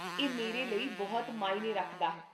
ਇਹ ਮੇਰੇ ਲਈ ਬਹੁਤ ਮਾਅਨੇ ਰੱਖਦਾ ਹੈ